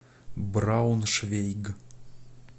брауншвейг